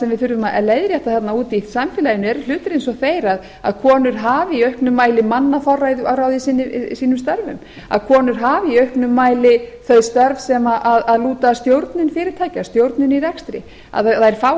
við þurfum að leiðrétta þarna úti í samfélaginu eru hlutir eins og þeir að konur hafi í akrinum mæli mannaforráð í sínum störf að konur hafi í auknum mæli þau störf sem lúta að stjórnun fyrirtækja stjórnun í rekstri að þær fái